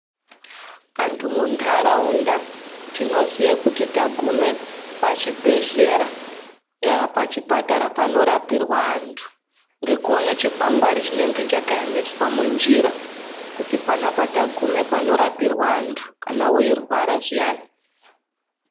Antu mundarawunda tinoziye kuti tagume pachibhedhlera , yaa pachipatara panorapirwa antu, ngekuwone chikwangari chinenge chakayemeswa munjira kuti pano apa tagume panorapirwa antu kana uyirwara zviyane.